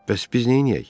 Bəs biz neyləyək?